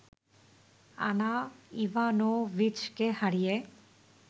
আনা ইভানোভিচকে হারিয়ে